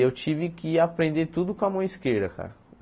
Eu tive que aprender tudo com a mão esquerda, cara.